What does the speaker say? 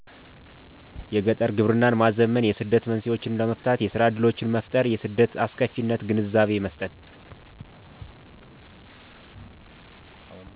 የገጠር ግብርናን ማዘመን የስደት መንስኤዎችን ለመፍታት የስራ እድሎችን መፍጠር የስደት አስከፊነት ግንዛቤ መስጠት